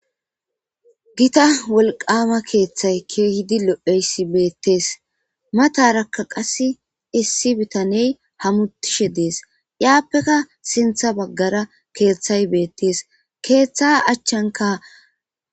Gita wolqama keeththay kehidi lo7eyssi beettees matarakka qas issi bitaney hamutishe dees iyaappeka sintha baggara keeththay beettees keeththa achchanka.